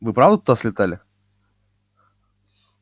вы правда туда слетали